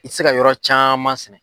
I ti se ka yɔrɔ caman sɛnɛ.